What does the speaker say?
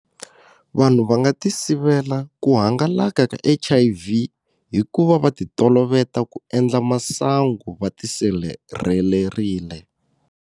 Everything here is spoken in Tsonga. Vanhu va nga ti sivela ku hangalaka ka H_I_V hi ku va va ti toloveta ku endla masangu va ti sirhelererile.